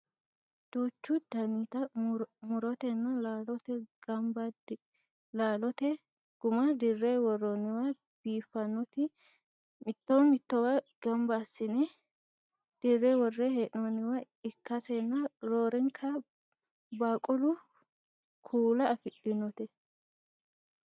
duuchu danita murotenna laalote gumma dirre worroonniwa biiffannoti mitto mittowa ganba assine dirre worre hee'nooniwa ikkasenna roorenka baqqala kuula afidhinote